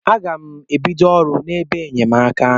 A ga m e bido ọrụ n'ebe enyemaka.